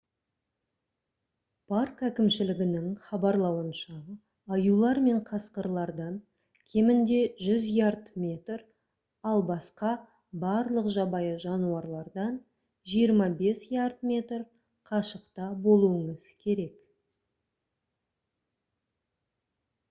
парк әкімшілігінің хабарлауынша аюлар мен қасқырлардан кемінде 100 ярд/метр ал басқа барлық жабайы жануарлардан 25 ярд/метр қашықта болуыңыз керек!